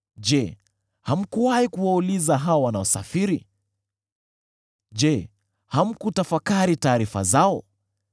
Je, hamkuwahi kuwauliza hao wanaosafiri? Je, hamkutafakari taarifa zao: